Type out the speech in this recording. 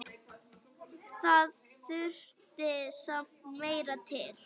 Það þurfti samt meira til.